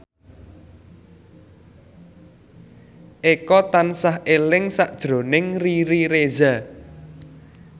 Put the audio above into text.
Eko tansah eling sakjroning Riri Reza